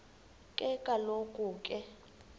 ke kaloku ke